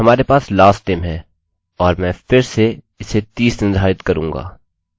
हमारे पास lastname है और मैं फिर से इसे 30 निर्धारित करूँगा